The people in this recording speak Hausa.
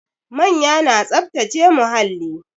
Manya na tsaftace muhalli